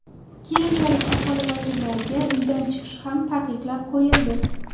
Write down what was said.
Keyinchalik aholi vakillariga uydan chiqish ham taqiqlab qo‘yildi.